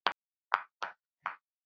ljúf skylda.